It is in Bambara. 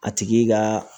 A tigi ka